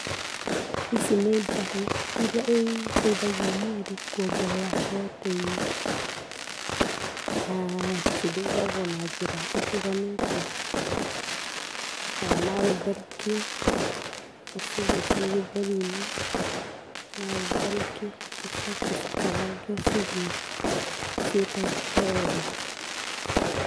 Ici nĩ njahĩ iria iteithagia mwĩrĩ kwongerera protein. Na cirugagũo na njĩra itiganĩte, ta na ũtherũkie, ũcirĩe ciĩ gĩtheri-inĩ, na ũtherũkie ũcoke ũcikarange ũcirĩe ciĩ ta gĩtoero.